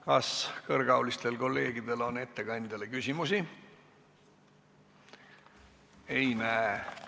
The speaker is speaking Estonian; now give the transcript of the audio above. Kas kõrgeaulistel kolleegidel on ettekandjale küsimusi?